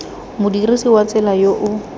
modirisi wa tsela yo o